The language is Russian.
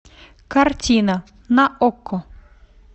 картина на окко